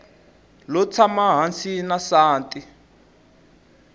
lo tshama hansi na nsati